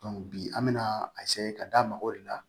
bi an bɛna ka da mɔgɔw de la